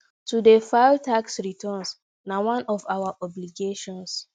to dey file tax returns na one of our obligations